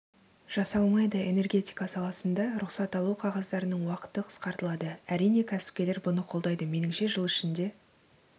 жасалмайды энергетика саласында рұқсат алу қағаздарының уақыты қысқартылады әрине кәсіпкерлер бұны қолдайды меніңше жыл ішінде